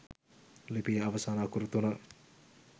ලිපියේ අවසාන අකුරු තුන